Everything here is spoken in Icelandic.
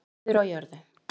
friður á jörðu